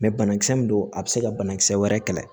Mɛ banakisɛ min don a bɛ se ka banakisɛ wɛrɛ kɛlɛ